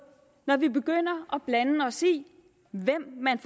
når vi begynder at blande os i hvem man